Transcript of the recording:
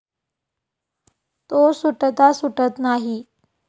तो सुटता सुटत नाही.